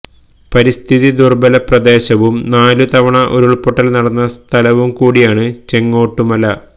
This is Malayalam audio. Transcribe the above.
പരിസ്ഥിതി ദുര്ബ്ബല പ്രദേശവും നാലു തവണ ഉരുള്പൊട്ടല് നടന്ന സ്ഥലവും കൂടിയാണ് ചെങ്ങോട്ടുമല